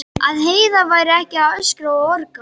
Að Heiða væri ekki að öskra og orga.